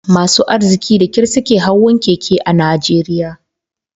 Masu arziki da kyar suke hawan keke a Najeriya